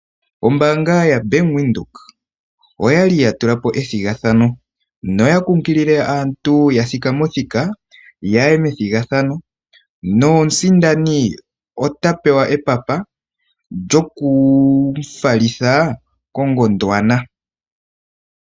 Ombaanga ya Bank Windhoek oyali ya tula po ethigathano noya kunkilile aantu ya thikame othika yaye methigathano nomusindani ota pewa epapa lyoku mu falitha ko Gondwana.